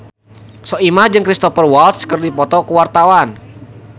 Soimah jeung Cristhoper Waltz keur dipoto ku wartawan